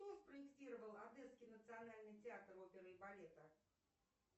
кто спроектировал одесский национальный театр оперы и балета